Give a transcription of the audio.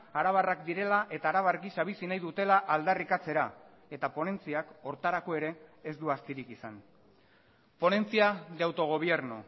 arabarrak direla eta arabar gisa bizi nahi dutela aldarrikatzera eta ponentziak horretarako ere ez du astirik izan ponencia de autogobierno